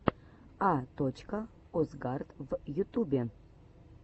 а точка осгард в ютубе